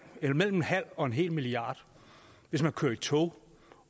en halv og en hel milliard hvis man kører i tog